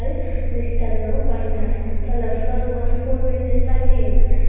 mistano bandar toley floor bot ful diney sajeyon.